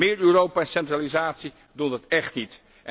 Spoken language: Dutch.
Meer Europa en centralisatie doen dat echt niet.